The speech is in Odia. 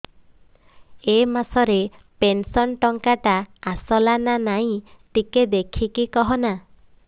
ଏ ମାସ ରେ ପେନସନ ଟଙ୍କା ଟା ଆସଲା ନା ନାଇଁ ଟିକେ ଦେଖିକି କହନା